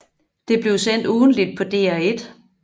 Det blev sendt ugentligt på DR1